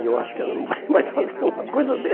E eu acho que ela não vai mais fazer nenhuma coisa assim.